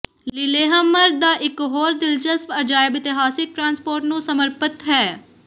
Lillehammer ਦਾ ਇਕ ਹੋਰ ਦਿਲਚਸਪ ਅਜਾਇਬ ਇਤਿਹਾਸਿਕ ਟ੍ਰਾਂਸਪੋਰਟ ਨੂੰ ਸਮਰਪਿਤ ਹੈ